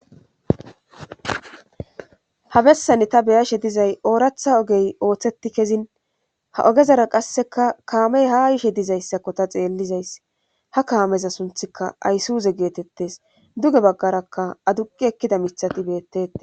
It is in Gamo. Habessane ta beyashe dizay ooratha ogey ooththetti kezin ha ogezara qasseka kaamey ha ishe dizayssakko ta xeellizays ha kaameza sunthika aysuuze geetettes duge baggarakka aduqi ekkida mithati beettete.